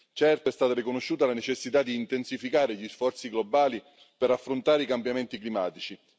Certo, è stata riconosciuta la necessità di intensificare gli sforzi globali per affrontare i cambiamenti climatici.